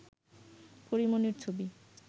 পরী মনির ছবি